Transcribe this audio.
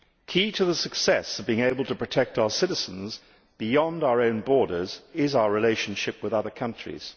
Key to the success of being able to protect our citizens beyond our own borders is our relationship with other countries.